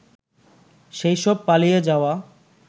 সেইসব পালিয়ে যাওয়া